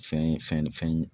Fɛn ye fɛn fɛn ye